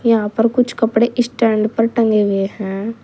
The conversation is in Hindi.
यहां पर कुछ कपड़े स्टैंड पर टंगे हुए हैं।